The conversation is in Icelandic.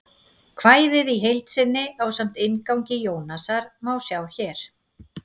Kvæðið í heild sinni, ásamt inngangi Jónasar, má sjá hér.